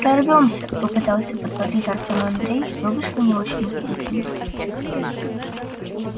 прорвёмся попытался подбодрить артёма андрей но вышло не очень убедительно